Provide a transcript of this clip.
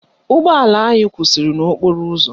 Ụgbọala anyị kwụsịrị n'okporo ụzọ